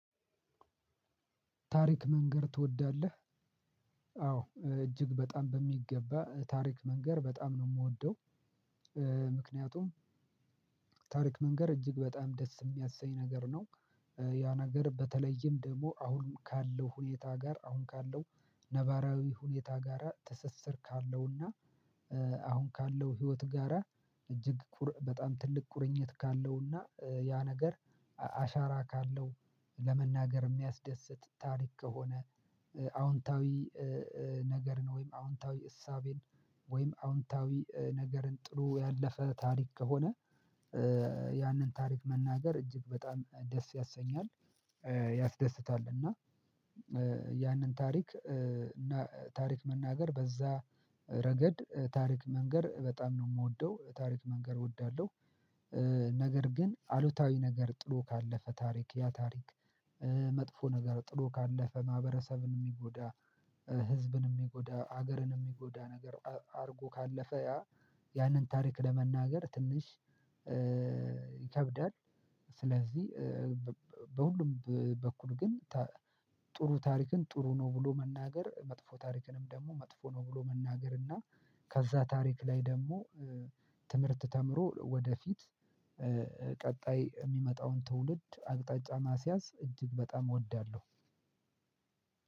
ታሪክ መንገር ትወዳለህ? አዎ እጅግ በጣም በሚገባ ታሪክ መንገር በጣም ነው የምወደው። ምክንያቱም ታሪክ መንገር እጅግ በጣም ደስ የሚያሰኝ ነገር ነው። ያ ነገር በተለይም ደግሞ አሁን ካለው ሁኔታ ጋር አሁን ካለው ሁኔታ ጋራ ትስስር ካለውና አሁን ካለው ህይወት ጋራ እጅግ በጣም ትልቅ ቁርኝት ካለውና ያ ነገር አሻራ ካለው ለመናገር የሚያስደስት ታሪክ ከሆነ አዎንታዊ ነገርን ወይም አዎንታዊ እሳቤን ወይም አዎንታዊ ነገርን ጥሩ ያለፈ ታሪክ ከሆነ ያንን ታሪክ መናገር እጅግ በጣም ደስ ያሰኛል። ያስደስታል እና ያንን ታሪክ መናገር በዛ ረገድ ታሪክ መንገር በጣም ነው የምወደው ታሪክ መንገር እወዳለሁ። ነገር ግን አሉታዊ ነገር ጥሎ ካለፈ ታሪክ ያ ታሪክ መጥፎ ነገር ጥሎ ካለፈ ማህበረሰብን የሚጎዳ ህዝብን የሚጎዳ ሀገርን የሚጎዳ ነገር አድርጎ ካለፈ ያ ያንን ታሪክ ለመናገር ትንሽ ይከብዳል። ስለዚህ በሁሉም በኩል ግን ጥሩ ታሪክን ጥሩ ነው ብሎ መናገር መጥፎ ታሪክንም ደግሞ መጥፎ ነው ብሎ መናገር እና ከዛ ታሪክ ላይ ደግሞ ትምህርት ተምሮ ወደፊት ቀጣይ የሚመጣውን ትውልድ አቅጣጫ ማስያዝ እጅግ በጣም እወዳለሁ።